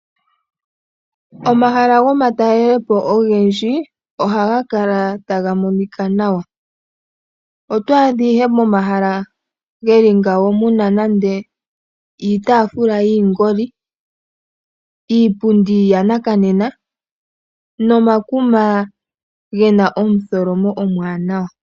Omahala gomatelelepo ogendji, ohaga kala taga monika nawa. Ito adha ihe momahala ge li ngawo muna iitaafula yiingoli, iipundi yanakanena, nomakuma gena omutholomo omwaanawa.